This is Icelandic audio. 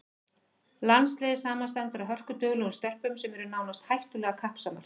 Landsliðið samanstendur af hörkuduglegum stelpum sem eru nánast hættulega kappsamar.